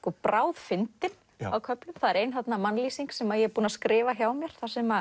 bráðfyndin á köflum það er ein mannlýsing sem ég er búin að skrifa hjá mér þar sem